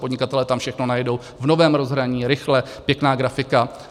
Podnikatelé tam všechno najdou, v novém rozhraní, rychle, pěkná grafika.